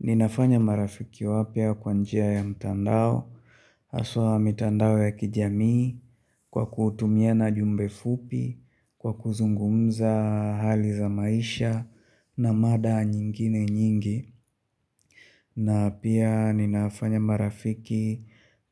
Ninafanya marafiki wapya kwa njia ya mtandao, haswa mitandao ya kijamii kwa kutumiana jumbe fupi, kwa kuzungumza hali za maisha na mada nyingine nyingi, na pia ninafanya marafiki